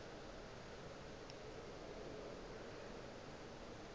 monna yoo o ile a